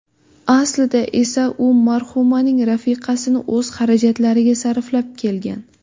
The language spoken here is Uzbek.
Aslida esa u marhumaning rafiqasini o‘z xarajatlariga sarflab kelgan.